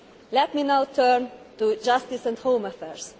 Let me now turn to Justice and Home Affairs.